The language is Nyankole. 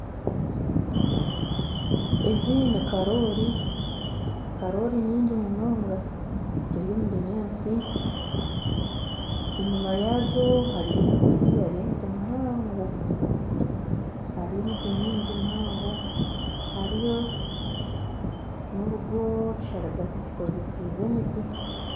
Ezi ni karoori karoori nyingi munonga ziri omubinyantsi enyuma yazo hariyo emiti hariyo emiti mihaango hariyo emiti myingi mihango hariyo n'orugo ekisharagate kikozesibwe emiti.